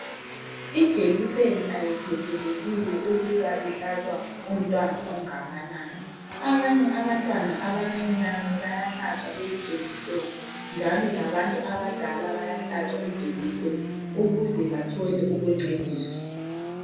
Ijekiseni ayikhethelekile ukuba ihlatshwa umntwana ongakanani. Abanye abantwana abancinyane bayahlatshwa leli jekiseni, njalo labantu abadala bayahlatshwa ijekiseni ukuze bathole ukuncediswa.